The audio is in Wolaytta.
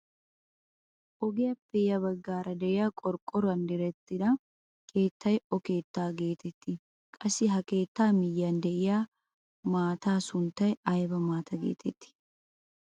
Ogiyaappe ya baggaara de'iyaa qorqqoruwaan direttida keettay o keettaa getettii? qassi ha keettaa miyiyaan de'iyaa maataa sunttay ayba maataa getettii?